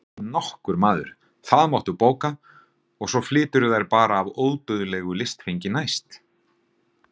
Ekki nokkur maður, það máttu bóka og svo flyturðu þær bara af ódauðlegu listfengi næst.